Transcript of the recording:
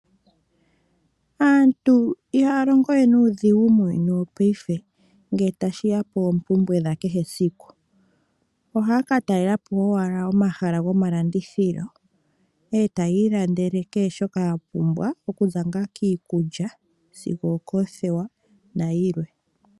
Aantu ihaya longo we nuudhigu muuyuni wopayife nge tashiya po ompumbwe dha kehe esiku. Ohaya ka talelapo owala omahala gomalandithilo etayi ilandele kehe shoka ya pumbwa okuza nga kiikulya sigo okothewa nayilwe.